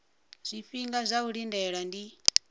zwifhinga zwa u lindela ndi